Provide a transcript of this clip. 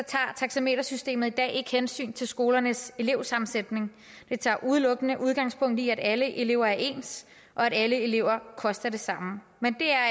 tager taxametersystemet i dag ikke hensyn til skolernes elevsammensætning det tager udelukkende udgangspunkt i at alle elever er ens og at alle elever koster det samme men